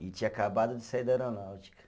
E tinha acabado de sair da aeronáutica.